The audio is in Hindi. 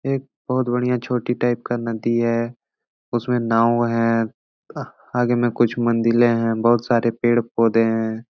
एक बहुत बढियां छोटी टाइप का नदी है उसमे नाव हैं आगे में कुछ मंदिले हैं बहुत सारे पेड़ पौधे है।